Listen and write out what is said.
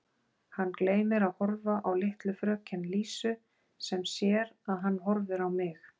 Hann gleymir að horfa á litlu fröken Lísu sem sér að hann horfir á mig.